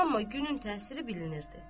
Amma günün təsiri bilinirdi.